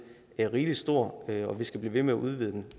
er rigelig stor og at vi skal blive ved med at udvide den